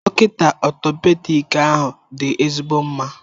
Dọkịta Orthopedic ahụ dị ezigbo mma